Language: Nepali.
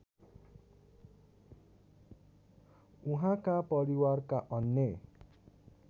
उहाँका परिवारका अन्य